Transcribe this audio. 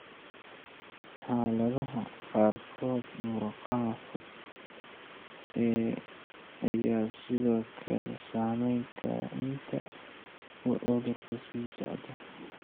Xaaladaha qaarkood, murqaha fog ayaa sidoo kale saameyn kara inta uu cudurku sii socdo.